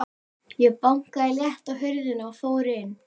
Ég bankaði létt á hurðina og fór inn.